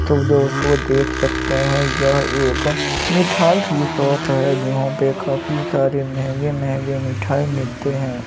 तो दोस्तों देख सकते हैं यह एक मिठाई की शॉप है जहाँ पे काफी सारे महंगे महंगे मिठाई मिलते हैं।